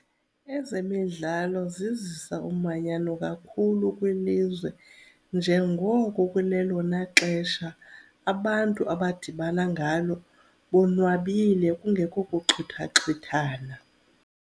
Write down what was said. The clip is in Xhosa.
Ezemidlalo zizisa umanyano kakhulu kwilizwe njengoko kulelona xesha abantu abadibana ngalo bonwabile kungekho kuxhuthaxhuthana.